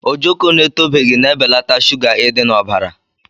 Ojoko na-etobeghị na-ebelata shuga idi na ọbara.